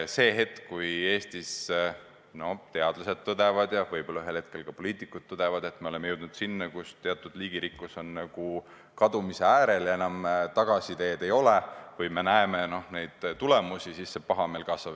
Hetkel, kui Eestis teadlased tõdevad ja võib-olla ühel hetkel ka poliitikud tõdevad, et me oleme jõudnud seisu, kus teatud liigirikkus on kadumise äärel ja enam tagasiteed ei ole, üldine pahameel kasvab.